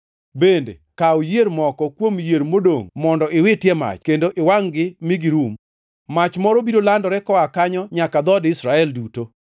Bende, kaw yier moko kuom yier modongʼ mondo iwiti e mach kendo iwangʼ-gi mi girum. Mach moro biro landore koa kanyo nyaka dhood Israel duto.